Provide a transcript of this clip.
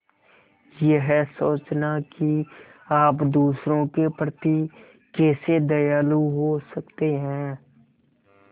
यह सोचना कि आप दूसरों के प्रति कैसे दयालु हो सकते हैं